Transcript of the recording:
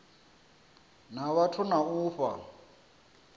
na vhathu na u fha